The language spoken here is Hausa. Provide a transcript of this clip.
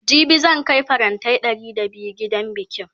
jibi zan Kai farantai Ɗari da biyu gidan bikin